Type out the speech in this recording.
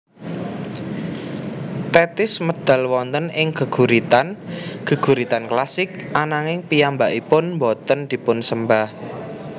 Tethis medal wonten ing geguritan geguritan klasik ananging piyambakipun boten dipunsembah